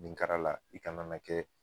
Nin kara la i kana na kɛ